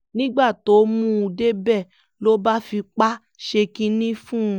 nígbà tó mú un débẹ̀ ló bá fipá ṣe kinní fún un